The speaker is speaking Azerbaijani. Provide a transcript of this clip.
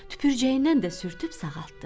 Tüpürcəyindən də sürüb sağaltdı.